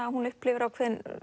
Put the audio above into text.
að hún upplifir ákveðin